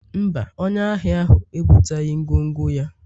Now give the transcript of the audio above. mba, onye ahịa ahụ ebuteghị ngwongwo ya